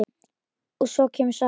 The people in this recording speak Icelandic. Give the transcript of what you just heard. Og svo kemur saga